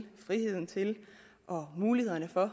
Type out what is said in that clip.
friheden til og mulighederne for